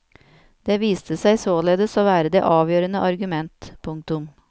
Det viste seg således å være det avgjørende argument. punktum